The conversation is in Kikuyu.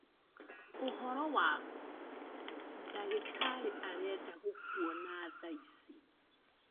Ũhoro waku? dagĩtarĩ arenda gũkwona thaa ici